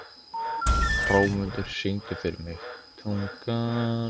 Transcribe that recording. Hrómundur, syngdu fyrir mig „Tungan“.